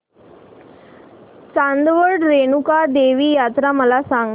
चांदवड रेणुका देवी यात्रा मला सांग